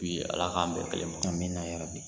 O ye ala k'an bɛn kelen ma amina yarabi.